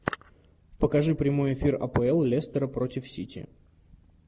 покажи прямой эфир апл лестера против сити